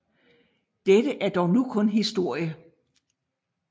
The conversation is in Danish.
Dette er dog nu kun historie